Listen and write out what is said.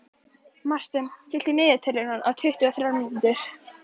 Marten, stilltu niðurteljara á tuttugu og þrjár mínútur.